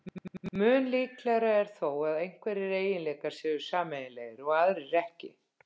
Mun líklegra er þó að einhverjir eiginleikar séu sameiginlegir og aðrir ekki.